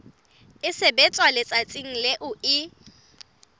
e sebetswa letsatsing leo e